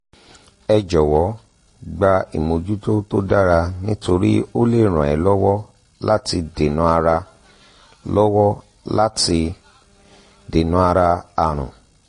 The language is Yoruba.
ẹ jọ̀wọ́ gba ìmójútó tó dára nítorí ó lè ràn ẹ́ lọ́wọ́ láti dènàárà lọ́wọ́ láti dènàárà àrùn